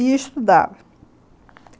E estudava.